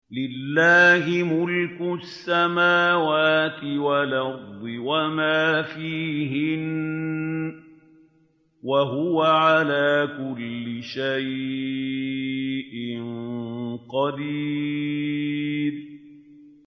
لِلَّهِ مُلْكُ السَّمَاوَاتِ وَالْأَرْضِ وَمَا فِيهِنَّ ۚ وَهُوَ عَلَىٰ كُلِّ شَيْءٍ قَدِيرٌ